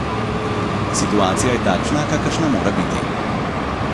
Situacija je takšna kakršna mora biti.